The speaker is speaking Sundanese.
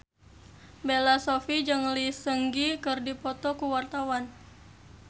Bella Shofie jeung Lee Seung Gi keur dipoto ku wartawan